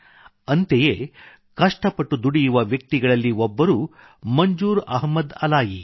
ಅಂತೆಯೇ ಕಷ್ಟಪಟ್ಟು ದುಡಿಯುವ ವ್ಯಕ್ತಿಗಳಲ್ಲಿ ಒಬ್ಬರು ಮಂಜೂರ್ ಅಹ್ಮದ್ ಅಲಾಯಿ